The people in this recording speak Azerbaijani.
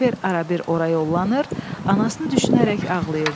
Oliver arabir ora yollanır, anasını düşünərək ağlayırdı.